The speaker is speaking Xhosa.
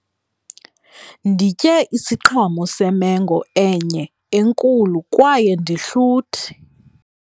Nditye isiqhamo semengo enye enkulu kwaye ndihluthi.